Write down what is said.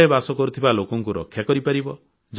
ଘରେ ବାସ କରୁଥିବା ଲୋକଙ୍କୁ ରକ୍ଷା କରିପାରିବ